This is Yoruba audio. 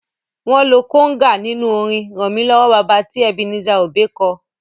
Wọn lo kóngà nínú orin "ràn wá lọ́wọ́ baba" tí Ebenezer Obey ko.